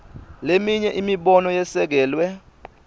leminye imibono yesekelwe